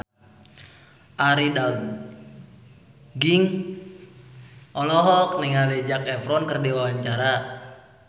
Arie Daginks olohok ningali Zac Efron keur diwawancara